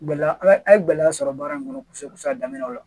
Gɛlɛya a ye gɛlɛya sɔrɔ baara in kɔnɔ kosɛbɛ kosɛbɛ a daminɛ la